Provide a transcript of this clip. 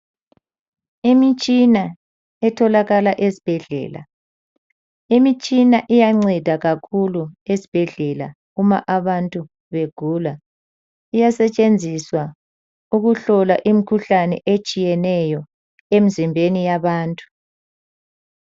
Imitshina etholakala esibhedlela, imitshina iyanceda kakhulu esibhedlela uma abantu begula. Iyasetshenziswa ukuhlola imikhuhlane etshiyeneyo emzimbeni yabantu.